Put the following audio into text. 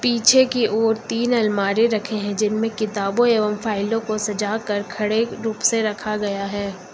पीछे की ओर तीन अलमारी रखे हैं जिनमें किताबों एवं फाइलों को सजाकर खड़े रूप से रखा गया है।